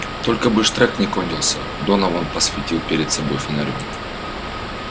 только бы штрек не кончился донован посветил перед собой фонарём